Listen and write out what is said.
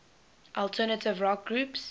alternative rock groups